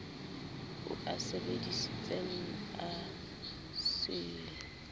o a sebesisitseng a se